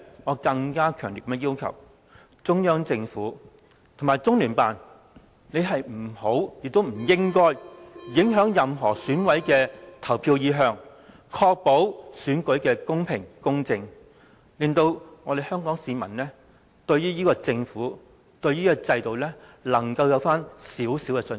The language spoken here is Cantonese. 我也強烈要求，中央政府和中聯辦不要，亦不應影響任何選委的投票意向，確保選舉公平公正，令香港市民對這個政府和這個制度回復少許信心。